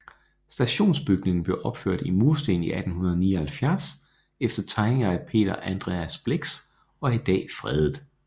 Stationsbygningen blev opført i mursten i 1879 efter tegninger af Peter Andreas Blix og er i dag fredet